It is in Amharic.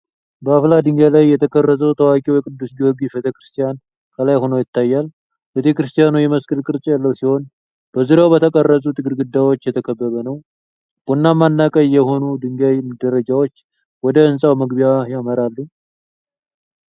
በአፍላ ድንጋይ ላይ የተቀረጸው ታዋቂው የቅዱስ ጊዮርጊስ ቤተ ክርስቲያን ከላይ ሆኖ ይታያል። ቤተክርስቲያኑ የመስቀል ቅርጽ ያለው ሲሆን፣ በዙሪያው በተቀረጹት ግድግዳዎች የተከበበ ነው። ቡናማና ቀይ የሆኑ የድንጋይ ደረጃዎች ወደ ሕንፃው መግቢያ ይመራሉ።